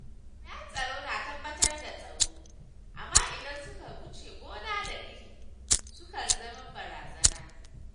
Jami’an tsaro na tabbatar da tsaro, amma idan suka wuce gona da iri, sukan zama barazana.